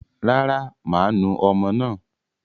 Rárá, máa nu ọmọ náà.